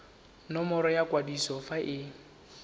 nomoro ya kwadiso fa e